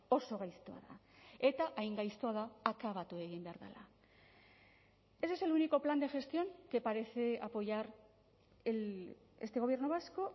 oso gaiztoa da eta hain gaiztoa da akabatu egin behar dela ese es el único plan de gestión que parece apoyar este gobierno vasco